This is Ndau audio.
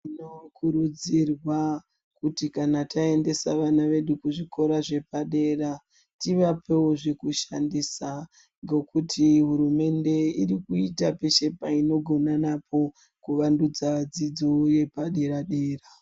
Tinokurudzirwa kuti kana taendesa vana vedu kuzvikora zvepadera, tivapewo zvekushandisa, ngokuti hurumende iri kuita peshe painogona napo, kuvandudza dzidzo yepadera-dera.